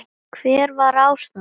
Hver var ástæðan?